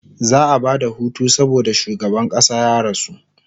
za'a Bada Hutu saboda shugaban ƙasa ya rasu